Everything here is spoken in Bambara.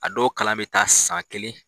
A dɔw kalan bɛ taa san kelen